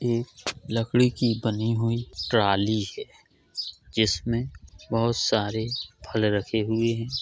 एक लकड़ी की बनी हुई ट्रॉली है जिसमे बहुत सारे फल रखे हुए है।